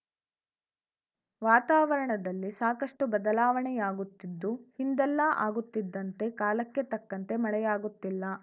ವಾತಾವರಣದಲ್ಲಿ ಸಾಕಷ್ಟುಬದಲಾವಣೆಯಾಗುತ್ತಿದ್ದು ಹಿಂದೆಲ್ಲಾ ಆಗುತ್ತಿದ್ದಂತೆ ಕಾಲಕ್ಕೆ ತಕ್ಕಂತೆ ಮಳೆಯಾಗುತ್ತಿಲ್ಲ